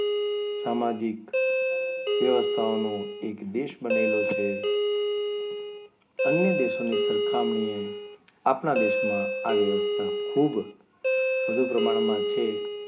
સામાજિક વ્યવસ્થાઓનો એક દેશ બનેલો છે અન્ય દેશોની સરખામણીએ આપના દેશમાં આ વ્યવસ્થા ખૂબ વધુ પ્રમાણમાં છે.